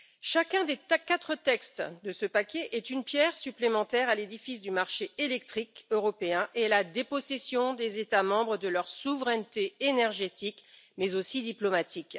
Chacun des quatre textes de ce paquet est une pierre supplémentaire à l'édifice du marché électrique européen et à la dépossession des États membres de leur souveraineté énergétique mais aussi diplomatique.